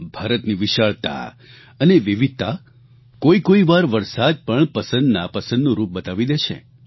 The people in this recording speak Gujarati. ભારતની વિશાળતા અને વિવિધતા કોઇકોઇ વાર વરસાદ પણ પસંદ નાપસંદનું રૂપ બતાવી દે છે